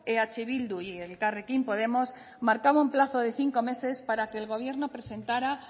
eh bildu y elkarrekin podemos marcaba un plazo de cinco meses para que el gobierno presentara